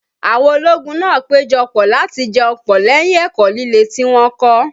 Àwọn ológun náà péjọ pọ̀ láti jẹun pọ̀ lẹ́yìn ẹ̀kọ́ líle tí wọ́n kọ́